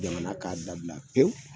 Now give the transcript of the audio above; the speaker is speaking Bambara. Jamana k'a dabila pewu